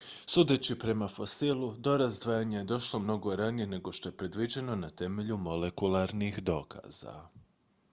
sudeći prema fosilu do razdvajanja je došlo mnogo ranije nego što je predviđeno na temelju molekularnih dokaza